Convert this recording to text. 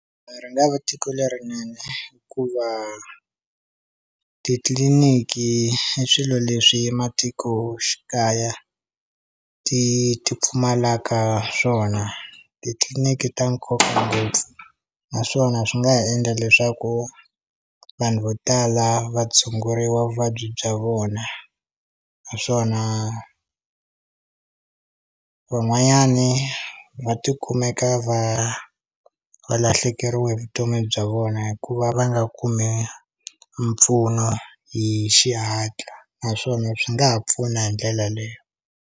Ri nga va tiko lerinene ku va titliliniki i swilo leswi matikoxikaya ti ti pfumalaka swona, titliliniki ta nkoka ngopfu naswona swi nga ha endla leswaku vanhu vo tala va tshunguriwa vuvabyi bya vona, naswona van'wanyani va tikumeka va va lahlekeriwe hi vutomi bya vona hikuva va nga kumi mpfuno hi xihatla naswona swi nga ha pfuna hi ndlela leyo.